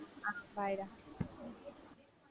ஆஹ் bye டா